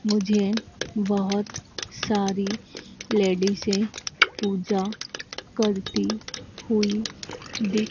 मुझे बहोत सारी लेडिसे पूजा करती हुई दिख--